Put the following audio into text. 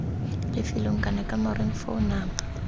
lefelong kana kamoreng foo nama